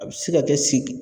A bɛ se ka kɛ segin